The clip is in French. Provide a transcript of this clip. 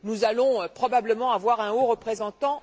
Nous allons probablement avoir un haut représentant.